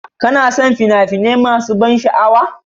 Kana son fina-finai masu ban sha'awa?